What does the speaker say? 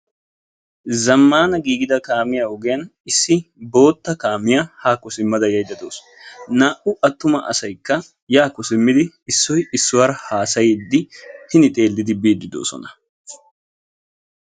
Zammana giigida kaamiyaa ogiyaan issi bootta kaamiyaa hakko simmada yaydda dawus; naa"u attuma asaykka yaakko simmidi issoy issuwaara haassaydi hin biide doosona.